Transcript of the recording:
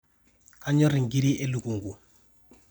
kanyorr inkiri elukunku